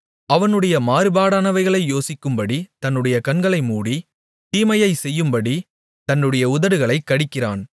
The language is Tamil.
அவனுடைய மாறுபாடானவைகளை யோசிக்கும்படி தன்னுடைய கண்களை மூடி தீமையைச் செய்யும்படி தன்னுடைய உதடுகளைக் கடிக்கிறான்